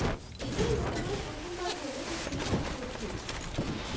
এইটা মনে হয় প্রথমবার হল যে তিনি অনুপস্থিত।